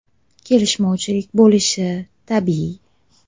Kelishmovchilik bo‘lishi tabiiy.